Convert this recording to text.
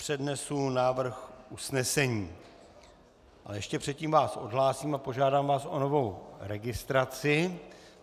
Přednesu návrh usnesení, ale ještě předtím vás odhlásím a požádám vás o novou registraci.